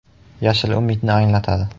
Yashil umidni anglatadi.